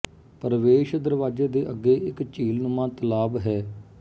ਪ੍ਰਵੇਸ਼ ਦਰਵਾਜ਼ੇ ਦੇ ਅੱਗੇ ਇਕ ਝੀਲ ਨੁਮਾ ਤਲਾਬ ਹੈ